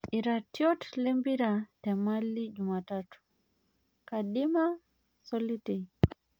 iratiot lempira te Mali Jumatatu ; kandima Solitei.